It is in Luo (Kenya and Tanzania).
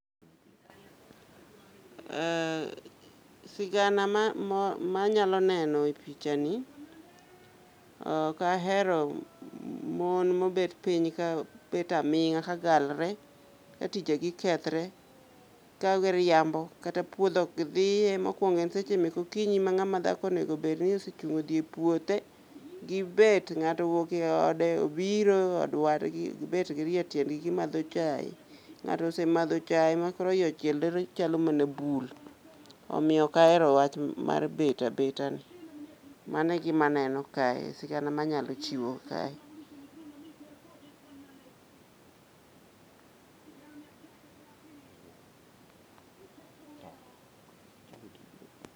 Eh sigana ma mo ma anyalo neno e picha ni, ok ahero mon mobet piny ka bet aming'a ka galre ka tije gi kethre. Ka giriambo kata puodho ok gidhiye mokwongo en seche mek okinyi ma ng'ama dhako onego obed ni osechung' odhi e puothe. Gibet, ng'ato owuok e ode obiro e od wadgi gibet girie tiendgi gimadho chae. Nga'to osemadho chae ma koro iye ochielre chalo mana bul, omiyomok ahero wach mar bet abeta ni. Mano e gima aneno kae, sigana manyalo chiwo kae.